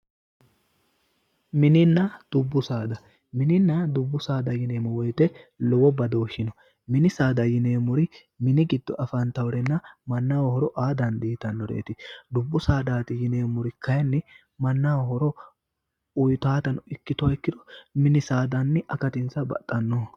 mininna dubbu saada mininna dubbu saada yineemmowoyite lowo badooshshi no mini saada yineemmori mini giddo afantannotenna mannaho horo uyitannote dubbu saadaati yineemmoti kayinni mannaho horo uyitannoha nafa ikkirono kayinni akatinsa baxxannoho.